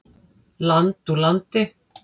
Land úr landi.